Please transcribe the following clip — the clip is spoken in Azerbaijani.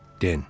Den.